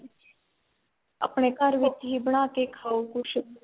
ਆਪਣੇ ਘਰ ਵਿੱਚ ਹੀ ਬਣਾ ਕੇ ਖਾਉ ਕੁੱਝ